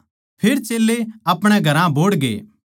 फेर चेल्लें अपणे घरां बोहड़गे